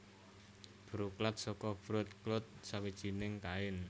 broklat saka Broad clouth sawijinging kain